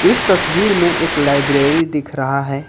इस तस्वीर में एक लाइब्रेरी दिख रहा है।